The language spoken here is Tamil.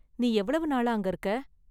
நீ எவ்வளவு நாளா அங்க இருக்க​?